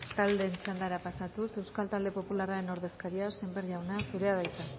taldeen txandara pasatuz euskal talde popularraren ordezkaria sémper jauna zurea da hitza